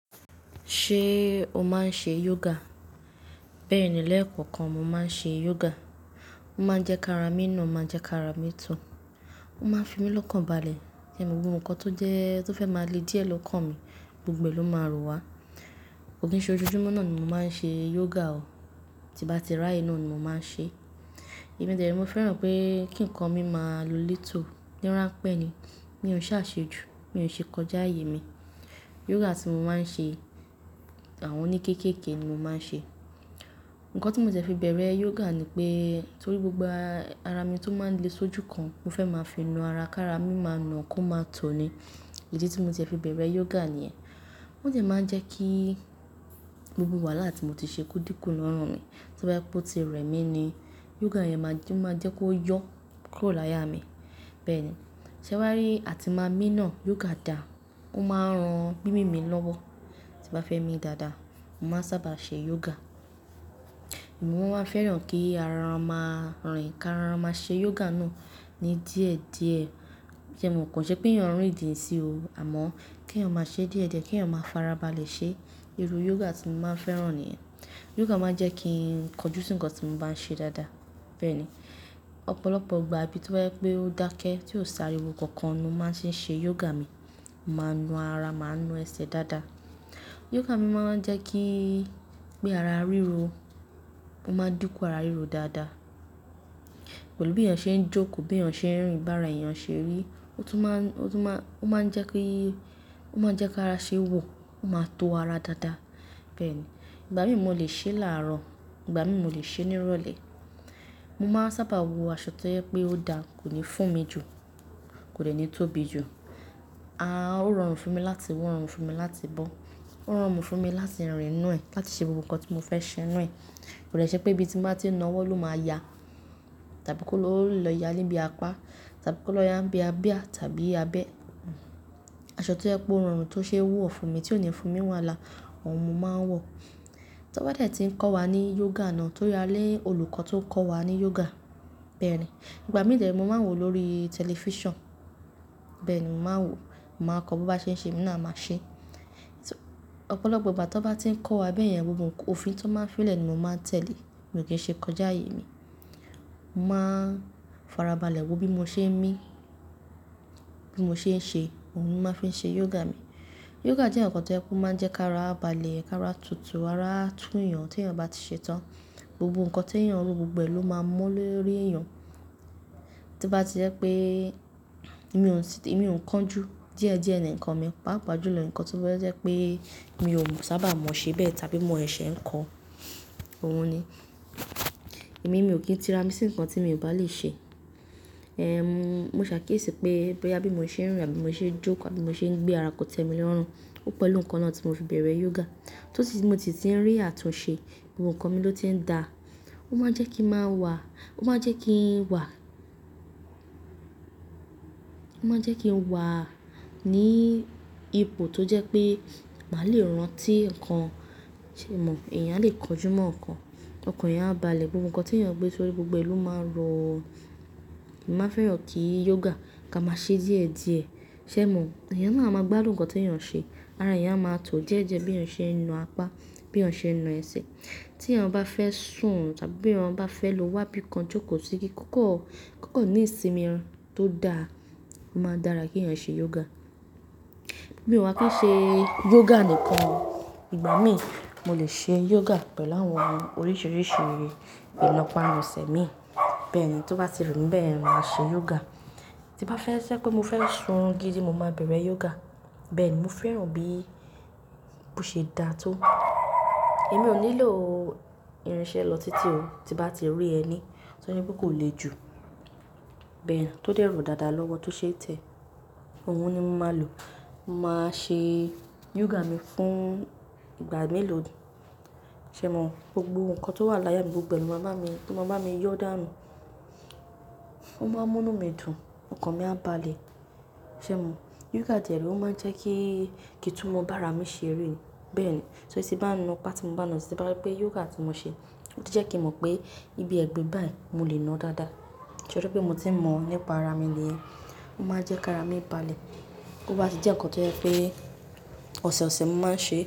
Ṣé o máa ń ṣe yoga? Bẹ́ẹ̀ni, lẹ́ẹ̀kan kan mo máa ń ṣe yoga. Ó máa ń jẹ́ kí ara mi nà, máa jẹ́ kí ara mi to Ó máa ń fi mí lọ́kànbalẹ̀. Ẹ̀nìgbogbo nǹkan tó jẹ́, tó fẹ́ máa le díẹ̀ ló kàn mi, gbogbo ẹ ló máa rọ wá. Kò kí n ṣe ojúmọ́ náà ni mo máa ń ṣe yoga ò. Ó máa ń jẹ́ kí ara mi nà, máa jẹ́ kí ara mi to Ẹ̀mi dere mo fẹ́ràn pé kí ǹkan mi máa lu létò. Níran pẹ́ ni. Mi ò ṣàṣejù, mi ò ṣe kọjá àyè mi. Yoga tí mo máa ń ṣe, àwọn oní kéékèèké ni mo máa ń ṣe. Ǹkan tí mo ti fẹ bẹ̀rẹ̀ yoga ni pé, torí gbogbo ara mi tó máa ń le sójú kan, mo fẹ́ máa fi na ara kí ara mi máa nà kó máa tọ̀ ni. Èyí tí mo ti fẹ bẹ̀rẹ̀ yoga nìyẹn. Wọ́n de máa ń jẹ́ kí gbogbo wàhálà tí mo ti ṣe kú díkù lorun mi, tí wọ́n bá ti rẹ̀ mí ni, yoga yẹn máa jẹ́ kó yọ, kó lọ láyá mi. Bẹ́ẹ̀ni. Sẹ́ wá rí, a ti máa mí nà, yoga dà. Ó máa ń ran mímì mi lọ́wọ́. Ti bá fẹ́ mi dáadáa, mo máa ń sábà ṣe yoga. Ẹ̀mí wọ́n máa ń fẹ́ràn kí ara wọn máa rìn, kí ara wọn máa ṣe yoga náà ní díẹ̀díẹ̀. Ṣé mo kàn ṣé pé yàn rìn ìdí òun sí o. Àmọ́ kí yàn máa ṣe é díẹ̀díẹ̀, kí yàn máa farabalẹ̀ ṣe. Iru yoga tí mo máa ń fẹ́ràn nìyẹn. Yoga máa ń jẹ́ kí n kọjú sí ǹkan tí mo bá ń ṣe dáadáa. Bẹ́ẹ̀ni. Ọ̀pọ̀lọpọ̀ ìgbà, ibi tí wọ́n bá pẹ́ ó dákẹ́, tí ó sáré wo kankan ni ó máa ń ṣe yoga mi. Mo máa ń na ara, màá ń na ẹsẹ̀ dáadáa. Yoga mi máa ń jẹ́ kí pé ara ríro, ó máa ń dinkú ara ríro dáadáa. Pẹ̀lú bí eyàn ṣe ń jókòó, bí eyàn ṣe ń rìn, bá ara eyàn ṣe rí. Ó tún máa ń jẹ́ kí, ó máa ń jẹ́ kí ara ṣe wò, ó máa tó ara dáadáa. Bẹ́ẹ̀ni. Ìgbà mí mo lè ṣe láàrọ̀, ìgbà mi mo lè ṣe ní ìrọ̀lẹ́. Mo máa ń sábà wo aṣọ tó yẹ pé ó da, kò ní fún mi jù, kò lè ní tóbi jù. Aà, ó rọrùn fún mi láti wọ̀, ó rọrùn fún mi láti bọ́. Ó rọrùn fún mi láti rìn nù ẹ́, láti ṣe gbogbo nǹkan tí mo fẹ́ ṣe nù ẹ́. Kò de ṣẹ́ pé ibi tí mo bá ti na owọ́ ló máa ya. Tàbí kó ló lọ ya nibi apá, tàbí kó lọ ya nibi abià tàbí abẹ́. Aṣọ tó yẹ pé ó rọrùn tó ṣe wo ọ́ fún mi, tí ó ní fún mi wahalá, òun ni mo máa ń wọ̀. Tí wọ́n bá de ti ń kọ́ wa ní yoga náà, torí a ni olùkọ́ tó ń kọ́ wa ní yoga. Bẹ́ẹ̀ni. Ìgbà mí tẹ́lẹ̀ mo máa ń wò ó lórí tẹlifíṣàn. Bẹ́ẹ̀ni, mo máa ń wò ó, mo máa kọ́ bó bá ṣe ń ṣe, èmi náà a máa ṣe é. Ọ̀pọ̀lọpọ̀ ìgbà tí wọ́n bá ti ń kọ́ wa bẹ́ẹ̀ yẹn, gbogbo òfin tí wọ́n máa fí lè ni mo máa tẹ̀lé. Mi ò kí ṣe kọjá àyè mi. Mo máa ń farabalẹ̀ wo bí mo ṣe ń mí, bí mo ṣe ń ṣe, òun ni mo máa fi ṣe yoga mi. Yoga jẹ́ ǹkan tó je pé ó máa ń jẹ́ kí ara balẹ̀, kí ara tutù, ara tún eyàn tí eyàn bá ti ṣe tán. Gbogbo ǹkan tí yàn rú, gbogbo ẹ ló máa mo lóri èèyàn. Tí bá ti jẹ́ pé èmi ò ń kánjú díẹ̀díẹ̀ ní ǹkan mi, pàápàá jùlọ ǹkan tó fẹ́ jẹ́ pé èmi ò sábà mọ̀ ṣe bẹ́ẹ̀ tàbí mọ sẹsẹ̀ ń kọ. Òun ni. Ẹ̀mí mi ò kí ń tira mi sí ǹkan tí èmi ò bá lè ṣe. Ẹ̀m, mo ṣàkíyèsí pé bóyá bí mo ṣe ń rìn àbí mo ṣe ń jókòó, àbí mo ṣe ń gbé ara kọ̀tẹ́ mi lọ́rùn, ó pẹ̀lú ǹkan náà tí mo fi bẹ̀rẹ̀ yoga. Torí tí mo ti ti ń rí àtúnṣe, gbogbo ǹkan mi ló ti ń dà. Ó máa ń jẹ́ kí màá wà, ó máa ń jẹ́ kí n wà, ó máa ń jẹ́ kí n wà ní ipò tó jẹ́ pé màá lè rántí ǹkan ṣe mọ̀. Ẹ̀yàn lè kọjú mọ́ ǹkan, ǹkan eyan á balẹ̀, gbogbo ǹkan tí yàn gbé sórí gbogbo ẹ ló máa rọ. Èmi máa ń fẹ́ràn kí yoga ká máa ṣe díẹ̀díẹ̀. Ṣé mo? Ẹ̀yàn náà máa gbá dùn ǹkan tí yàn ṣe. Ara yàn á máa tọ̀ díẹ̀díẹ̀ bí eyàn ṣe ń na apá, bí eyàn ṣe ń na ẹsẹ̀. Tí eyàn bá fẹ́ sùn tàbí bí eyàn bá fẹ́ lọ wá bí i kan jókòó sí i, kíkọ́, kíkọ́ ní ìsinmi tó da máa dára kí yàn ṣe yoga. Bí mo bá kún ṣe yoga nìkan, ìgbà mí mo lè ṣe yoga pẹ̀lú àwọn oríṣiríṣi ìlọ́pa ẹsẹ̀ mi. Bẹ́ẹ̀ni, tí ó bá ti rùn bẹ́ẹ̀, mo máa ṣe yoga. Tí bá fẹ́ ṣé pé mo fẹ́ sun gidi, mo máa bẹ̀rẹ̀ yoga. Bẹ́ẹ̀ni, mo fẹ́ràn bí ó ṣe dà tó. Èmi ò nílò irinṣẹ́ lọ títí o, tí bá ti rí ẹni tí ó ní bí kò le jù. Bẹ́ẹ̀ni, tó dẹ́ro dáadáa lọ́wọ́, tó ṣe tẹ́. Òun ni mo máa lò. Mo máa ṣe yoga mi fún ìgbà mélòó. Ṣé mo? Gbogbo ǹkan tó wà láyá mi gbogbo ẹ ló máa bá mi, kó máa bá mi yọ́ dànù. Ó máa ń mú inú mi dùn, ọkàn mi á balẹ̀. Ṣé mo? Yoga tẹ́lẹ̀ ó máa ń jẹ́ kí kì í tún mo bá ara mi ṣe rí. Bẹ́ẹ̀ni. Torí tí bá ń na apá tí mo bá na, torí ti bá wípé yoga tí mo ṣe, ó ti jẹ́ kí mo mọ̀ pé ibi ẹ̀gbe báyìí mo lè na dáadáa. Torí pé mo ti mọ̀ nípa ara mi niyen Ó máa ń jẹ́ kí ara mi balẹ̀. Ó bá ti jẹ́ ǹkan tó jẹ́ pé ọ̀sọ̀ọ̀sẹ̀ mo máa ń ṣe.